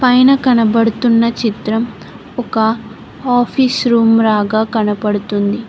పైన కనబడుతున్న చిత్రం ఒక ఆఫీస్ రూమ్ రాగా కనపడుతుంది.